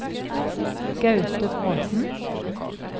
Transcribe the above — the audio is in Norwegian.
Gaute Bråthen